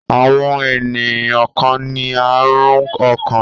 Àwọn ènìyàn kan ní àrùn ọkàn.